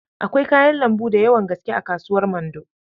Akwai kayan lambu d yawan gaske a kasuwar Mando